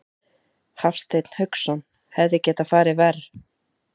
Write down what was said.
Hafsteinn Hauksson: Hefði getað farið verr?